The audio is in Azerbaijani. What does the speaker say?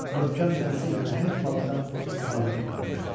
Möhkəm çənəsi ilə nəhəng balıqdan sallanıb qalmışdı.